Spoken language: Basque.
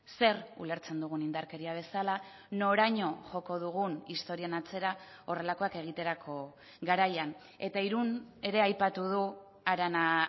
zer ulertzen dugun indarkeria bezala noraino joko dugun historian atzera horrelakoak egiterako garaian eta irun ere aipatu du arana